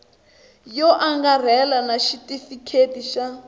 yo angarhela na xitifiketi xa